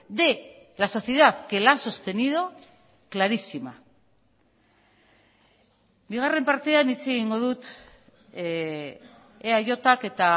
de la sociedad que la ha sostenido clarísima bigarren partean hitz egingo dut eajk eta